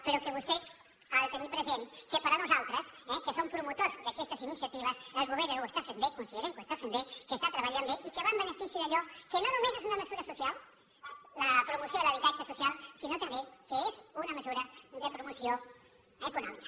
però que vostè ha de tenir present que per nosaltres eh que som promotors d’aquestes iniciatives el govern ho està fent bé considerem que ho es tà fent bé que està treballant bé i que va en benefici d’allò que no només és una mesura social la promoció de l’habitatge social sinó també que és una mesura de promoció econòmica